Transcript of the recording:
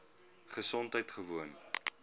gesondheidgewoon